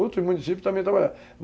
Outros municípios também trabalhavam.